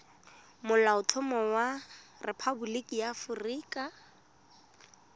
molaotlhomo wa rephaboliki ya aforika